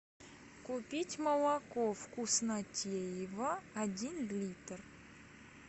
купить молоко вкуснотеево один литр